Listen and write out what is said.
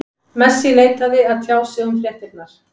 Messi neitaði að tjá sig um fréttirnar.